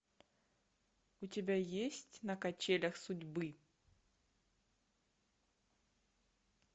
у тебя есть на качелях судьбы